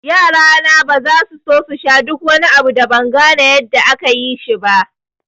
Yarana baza su sha duk wani abu da ban gane yadda ake yin shi ba